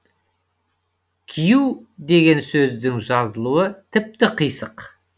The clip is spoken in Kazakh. кию деген сөздің жазылуы тіпті қисық